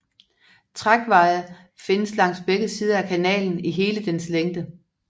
Trækveje fandtes langs begge sider af kanalen i hele dens længde